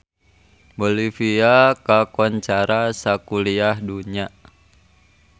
Bolivia kakoncara sakuliah dunya